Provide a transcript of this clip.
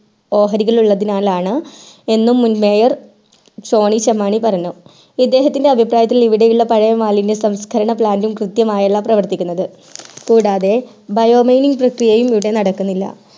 ഓഹരികൾ ഉള്ളതിനാലാണ് എന്ന് മുൻ mayor ടോണി ചെമ്മാണി പറയുന്നത് ഇദ്ദേഹത്തിൻറെ അഭിപ്രായത്തിൽ ഇവിടെ ഉള്ള പഴയ മാലിന്യ സംസ്കരണ plant ൽ കൃത്യമായിയല്ല പ്രവർത്തിക്കുന്നത് കൂടാതെ bio mining പ്രക്രിയയും ഇവിടെ നടക്കുന്നില്ല